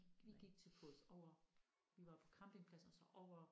Vi gik til fods over vi var på campingpladsen og så over